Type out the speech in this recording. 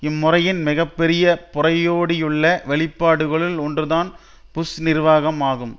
இம்முறையின் மிக பெரிய புரையோடியுள்ள வெளிப்பாடுகளுள் ஒன்றுதான் புஷ் நிர்வாகம் ஆகும்